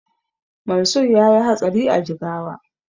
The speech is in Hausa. Mansur yayi hatsari a Jigawa